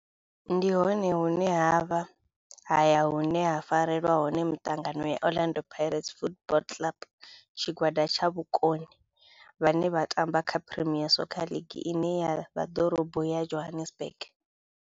Ndi hone hune havha haya hune ha farelwa hone mitangano ya Orlando Pirates Football Club. Tshigwada tsha vhomakone vhane vha tamba kha Premier Soccer League ine ya vha Dorobo ya Johannesburg.